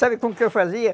Sabe como que eu fazia?